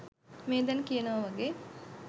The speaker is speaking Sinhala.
මේ දැන් කියනව වගේ